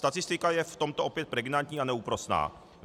Statistika je v tomto opět pregnantní a neúprosná.